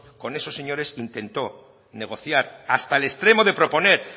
con esos señores intentó negociar hasta el extremo de proponer